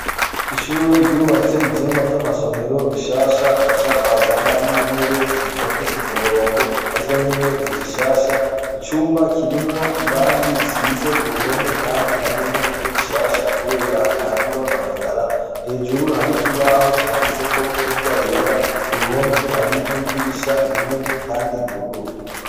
Ishure ryubatse ivyumba vy'amasomero bishasha baca bazana n'intebe zitondetse k'umurongo nazo nyene ni zishasha, icumba kirimwo iragi risize kuruhome kandi naryo nyene nirishasha kubera ntarirononekara, hejuru hari ikibaho canditseko n'ingwa yera, kuruhome hari n'idirisha rinini kandi ryuguruye.